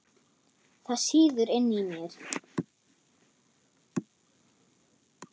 Það sýður inni í mér.